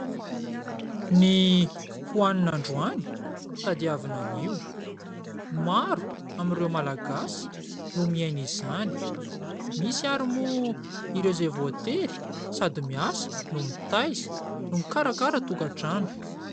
Ny hohanina androany tadiavina anio. Maro amin'ireo Malagasy no miaina izany misy ary moa ireo izay voatery sady miasa no mitaiza no mikarakara tokantrano.